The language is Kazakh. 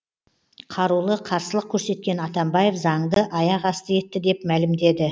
қарулы қарсылық көрсеткен атамбаев заңды аяқ асты етті деп мәлімдеді